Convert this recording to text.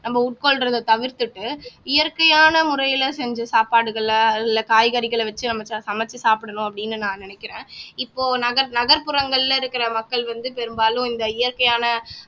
நம்ம உட்கொள்றதை தவிர்த்துட்டு இயற்கையான முறையில செஞ்ச சாப்பாடுகளை இல்ல காய்கறிகளை வச்சு நம்ம சமெச்சு சாப்பிடணும் அப்படின்னு நான் நினைக்கிறேன் இப்போ நகர் நகர்ப்புறங்கள்ல இருக்கிற மக்கள் வந்து பெரும்பாலும் இந்த இயற்கையான